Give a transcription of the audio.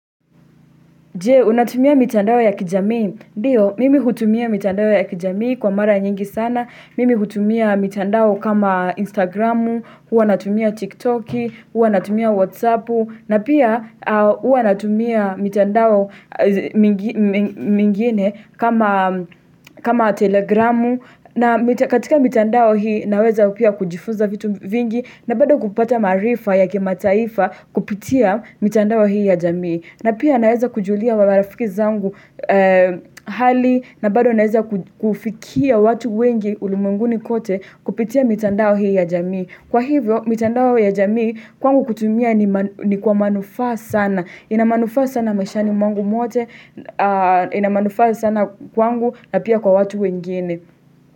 Je, unatumia mitandao ya kijamii? Ndio, mimi hutumia mitandao ya kijamii kwa mara nyingi sana, mimi hutumia mitandao kama Instagramu, hua natumia TikTok, hua natumia WhatsAppu, na pia hua natumia mitandao mingine kama Telegramu, na mi katika mitandao hii naweza pia kujifunza vitu vingi, na bado kupata maarifa ya kimataifa kupitia mitandao hii ya jamii. Na pia naeza kujulia wawarafiki zangu hali na bado naeza kufikia watu wengi ulimweguni kote kupitia mitandao hii ya jamii. Kwa hivyo, mitandao ya jamii, kwangu kutumia ni kwa manufaa sana. Ina manufaa sana mashani mwangu mwote, inamanufaa sana kwangu na pia kwa watu wengine.